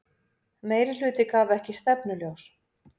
Meirihluti gaf ekki stefnuljós